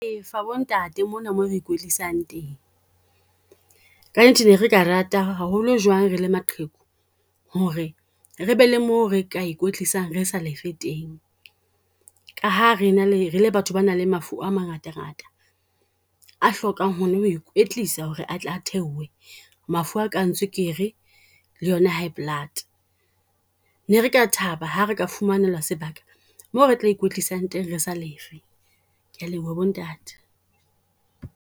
Fa bo ntate mona mo re ikwetlisang teng, kannete ne re ka rata haholo jwang re le maqheku ho re, re be le mo re ka ikwetlisang re sa lefe teng. Ka ha re na le, re le batho ba nang le mafu a mangata ngata. A hlokang ho na ho ikwetlisa ho re a tle a theohe, mafu a kang tswekere, le yona, high blood. Ne re ka thaba ha re ka fumanelwa sebaka, moo re tla ikwetlisang teng re sa lefe. Ke a leboha bo ntate.